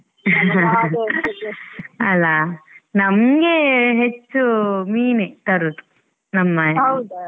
ಅಲ್ಲಾ ನಮ್ಗೆ ಹೆಚ್ಚು ಮೀನೇ ತರೋದು ನಮ್ಮ ಮನೇಲಿ.